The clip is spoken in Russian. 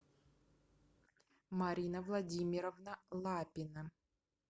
марина владимировна лапина